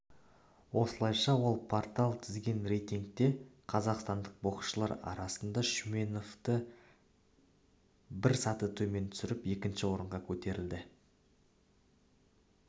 осылайша ол порталы тізген рейтингте қазақстандық боксшылар арасында шүменовты бір саты төмен түсіріп екінші орынға көтеріліпті